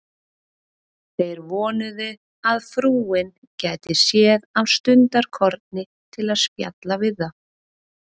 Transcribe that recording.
Þeir vonuðu, að frúin gæti séð af stundarkorni til að spjalla við þá.